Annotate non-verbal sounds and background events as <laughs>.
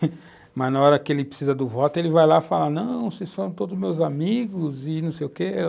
<laughs> Mas, na hora que ele precisa do voto, ele vai lá e fala, não, vocês são todos meus amigos e não sei o quê.